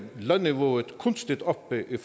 lønniveauet kunstigt oppe i